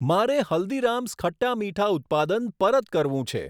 મારે હલ્દીરામ્સ ખટ્ટા મીઠા ઉત્પાદન પરત કરવું છે.